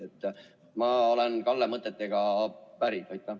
Aga ma olen Kalle mõtetega päri.